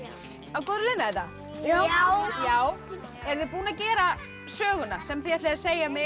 á góðri leið með þetta já eruð þið búin að gera söguna sem þið ætlið að segja